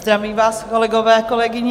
Zdravím vás, kolegové, kolegyně.